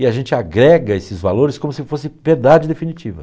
E a gente agrega esses valores como se fosse verdade definitiva.